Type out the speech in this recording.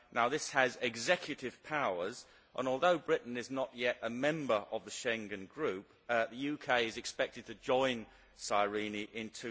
It has executive powers and although Britain is not yet a member of the Schengen Group, the UK is expected to joint SIRENE in